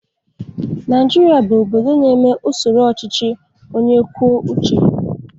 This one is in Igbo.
Naijiria bụ obodo na-eme usoro ọchịchị onye kwuo uche ya.